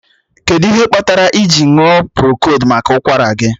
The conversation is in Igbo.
Kedụ ihe kpatara iji ṅụọ prokold maka ụkwara gị?